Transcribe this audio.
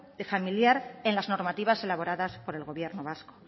familiar en las normativas elaboradas por el gobierno vasco